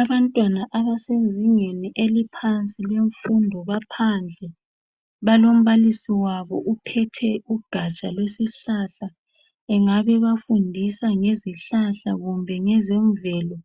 Abantwana abasezingeni eliphansi lemfundo baphandle balombalisi wabo ophethe ugatsha lwesihlahla engabe ebafundisa ngezihlahla kumbe ngezemvelo